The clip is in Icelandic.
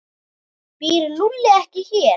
Býr Lúlli ekki hér?